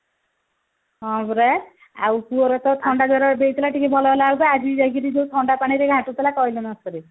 ହଁ ପରା ଆଉ ପୁଅର ତ ଥଣ୍ଡାଜର ଏବେ ହେଇଥିଲା ଟିକେ ଭଲ ହେଲା ବେଳକୁ ଆଜି ଯାଇକରି ଯୋଉ ଥଣ୍ଡାପାଣିରେ ଗାଧେଉଥିଲା କହିଲେ ନସରେ